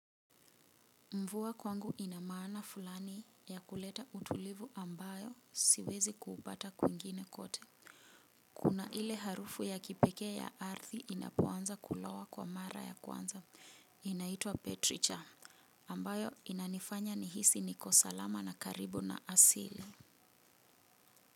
Mvua kwangu ina maana fulani ya kuleta utulivu ambayo siwezi kuupata kwingine kote. Kuna ile harufu ya kipekee ya ardhi inapoanza kulowa kwa mara ya kwanza. Inaitwa Petricha ambayo inanifanya nihisi niko salama na karibu na asili.